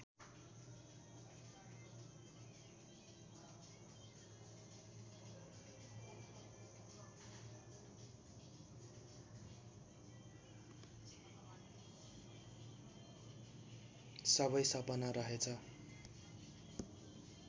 सबै सपना रहेछ